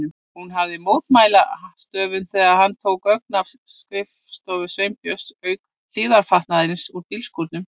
Hún hafði mótmælt hástöfum þegar hann tók gögn af skrifstofu Sveinbjörns, auk hlífðarfatnaðarins úr bílskúrnum.